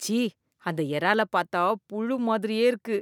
ச்சீ! அந்த எறாலப் பாத்தா புளு மாதிரியே இருக்கு